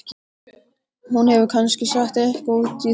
Hún hefur kannski sett eitthvað út í það.